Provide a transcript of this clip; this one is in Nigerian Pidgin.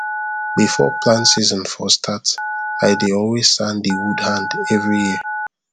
before plant season for start i dey always sand the wood hand every year